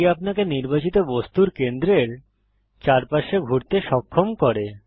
এটি আপনাকে নির্বাচিত বস্তুর কেন্দ্রের চারপাশে ঘুরতে সক্ষম করে